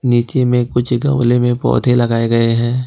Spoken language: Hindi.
नीचे में कुछ गमले में पौधे लगाए गए हैं।